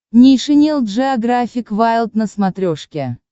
нейшенел джеографик вайлд на смотрешке